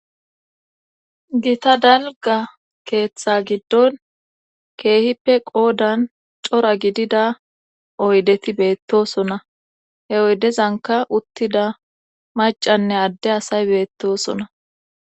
gita dalga keeththa giddon keehippe qoodan cora gidida oydeti beettosona he oydezanka uttida macanne adde asay beettosona